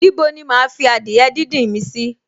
Ní bo ni máa fi adìẹ díndín mi sì?